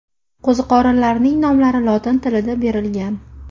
Qo‘ziqorinlarning nomlari lotin tilida berilgan.